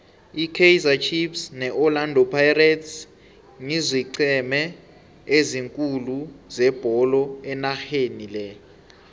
ikaizer chiefs ne orlando pirates ngizoeenceme ezikhulu zebolo enarheni le